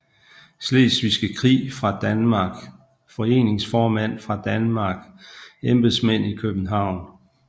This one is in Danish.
Slesvigske Krig fra Danmark Foreningsformænd fra Danmark Embedsmænd i København